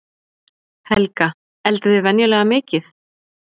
Helga: Eldið þið venjulega mikið?